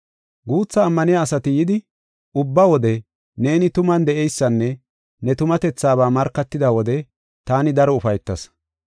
Guutha ammaniya asati yidi, ubba wode neeni tuman de7eysanne ne tumatethaba markatida wode taani daro ufaytas.